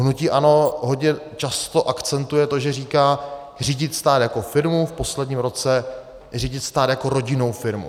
Hnutí ANO hodně často akcentuje to, že říká "řídit stát jako firmu", v posledním roce "řídit stát jako rodinnou firmu".